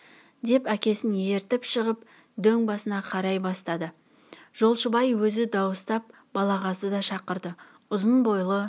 деп әкесін ертіп шығып дөң басына қарай бастады жолшыбай өзі дауыстап балағазды да шақырды ұзын бойлы